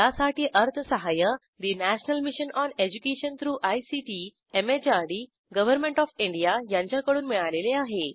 यासाठी अर्थसहाय्य national mission on education through ICT MHRD government of India यांच्याकडून मिळालेले आहे